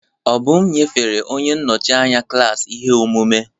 Obum nyefere onye nnọchi anya klaasị ihe omume.